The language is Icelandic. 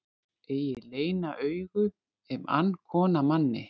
Eigi leyna augu ef ann kona manni.